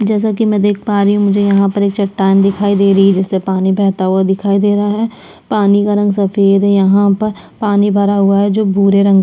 जैसा की मैं देख पा रही हूँ मुझे यहाँ पर एक चट्टान दिखाई दे रही है जिसे पानी बहता हुआ दिखाई दे रहा है पानी का रंग सफ़ेद है यहाँ पर पानी भरा हुआ है जो भूरे रंग --